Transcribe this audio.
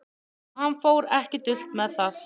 Og hann fór ekki dult með það.